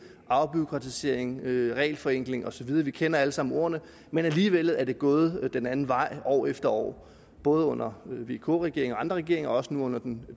afbureaukratisering regelforenkling osv vi kender alle sammen ordene men alligevel er det gået den anden vej år efter år både under vk regeringen og andre regeringer og også nu under den